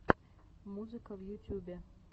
музыка в ютюбе